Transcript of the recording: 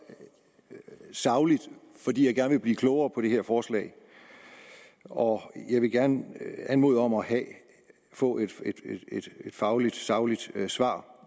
sagligt fordi jeg gerne vil blive klogere på det her forslag og jeg vil gerne anmode om at få et fagligt sagligt svar